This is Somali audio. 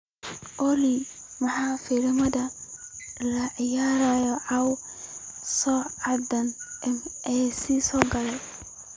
olly maxaa filimada la ciyaarayaa caawa sacada a. m. c. sagaal